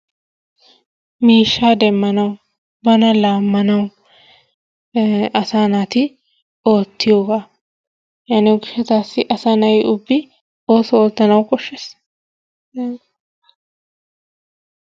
Miishsha demmanawu bana laammanawu asa naati oottiyooga, yaaniyo gishshatassi asaa na'i ubbi ooso oottanawu koshshees.